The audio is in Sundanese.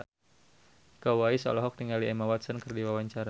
Iko Uwais olohok ningali Emma Watson keur diwawancara